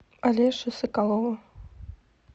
алеши соколова